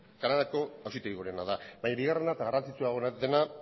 kanadako auzitegi gorena da baina bigarrena eta garrantzitsuagoa dena